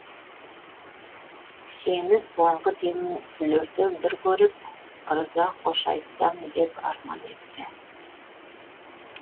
сені соңғы демім үзілерде бір көріп ырза қош айтсам деп арман етті